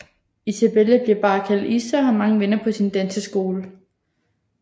Isabella bliver bare kaldt Isa og har mange venner på sin danseskole